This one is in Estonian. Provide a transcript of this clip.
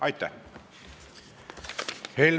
Aitäh!